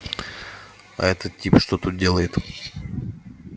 а этот тип что тут делает